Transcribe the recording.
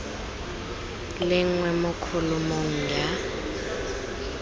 le nngwe mo kholomong ya